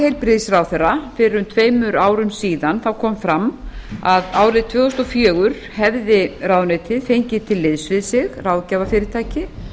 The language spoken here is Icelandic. heilbrigðisráðherra fyrir um tveimur árum síðan kom fram að árið tvö þúsund og fjögur hefði ráðuneytið fengið til liðs við sig ráðgjafarfyrirtæki